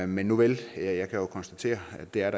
men nuvel jeg kan jo konstatere at der